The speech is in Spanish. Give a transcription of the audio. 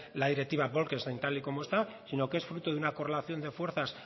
la directiva bolkestein tal y como está sino que es fruto de una correlación de fuerzas